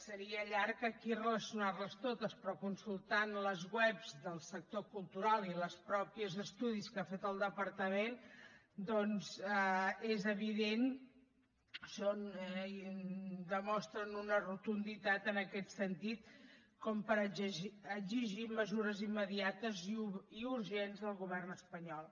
seria llarg aquí relacionar les totes però consultant les webs del sector cultu ral i els mateixos estudis que ha fet el departament doncs és evident que demostren una rotunditat en aquest sentit com per exigir mesures immediates i urgents al govern espanyol